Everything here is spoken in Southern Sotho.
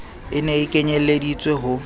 e ne e kenyelleditswe ho